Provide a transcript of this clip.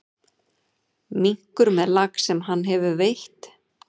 Minkur með lax sem hann hefur veitt.